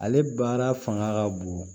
Ale baara fanga ka bon